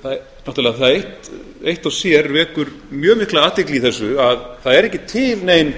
sjálfsræktarkerfinu náttúrlega það eitt og sér vekur dag mikla athygli í þessu að það er ekki til nein